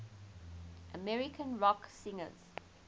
american rock singers